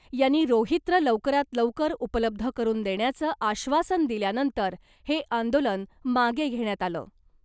यांनी रोहित्र लवकरात लवकर उपलब्ध करून देण्याचं आश्वासन दिल्यानंतर हे आंदोलन मागे घेण्यात आलं .